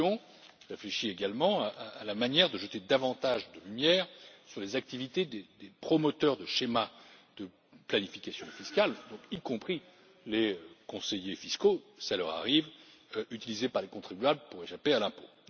Elle réfléchit également à la manière de jeter davantage de lumière sur les activités des promoteurs de schémas de planification fiscale y compris les conseillers fiscaux, cela leur arrive utilisés par les contribuables pour échapper à l'impôt.